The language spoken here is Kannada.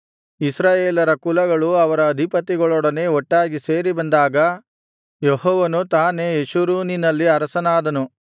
ಇಸ್ರಾಯೇಲರ ಕುಲಗಳು ಅವರ ಅಧಿಪತಿಗಳೊಡನೆ ಒಟ್ಟಾಗಿ ಸೇರಿಬಂದಾಗ ಯೆಹೋವನು ತಾನೇ ಯೆಶುರೂನಿನಲ್ಲಿ ಅರಸನಾದನು